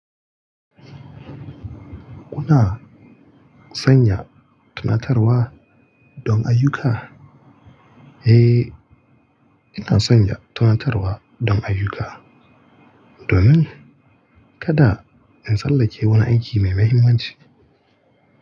Kuna sanya tunatarwa don ayyuka? Eh, ina sanya tunatarwa don ayyuka. Domin kada in sallake wani aiki mai mahimmanci.